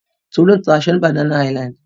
Tolú ń ta aṣọ ní Banana Island.